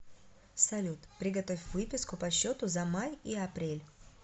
салют приготовь выписку по счету за май и апрель